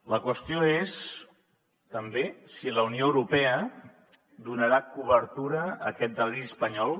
la qüestió és també si la unió europea donarà cobertura a aquest deliri espanyol